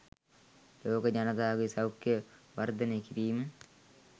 ලෝක ජනතාවගේ සෞඛ්‍යය වර්ධනය කිරීම